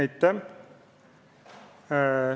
Aitäh!